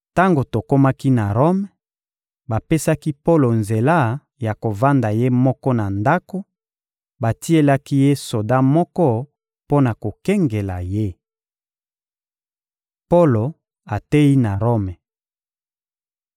Tango tokomaki na Rome, bapesaki Polo nzela ya kovanda ye moko na ndako; batielaki ye soda moko mpo na kokengela ye. Polo ateyi na Rome